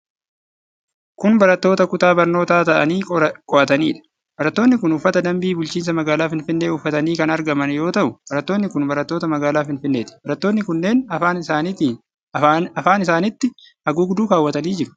Kun barattoota kutaa barnootaa taa'anii qo'ataniidha. Barattoonni kun uffata dambii Bulchiinsa Magaala Finfinnee uffatanii kan argaman yoo ta'u, barattoonni kun barattoota magaalaa Finfinneeti. Barattoonni kunneen afaan isaanitti haguugduu kaawwatanii jiru.